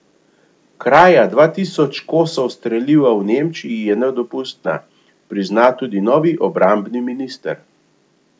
Kraja dva tisoč kosov streliva v Nemčiji je nedopustna, prizna tudi novi obrambni minister.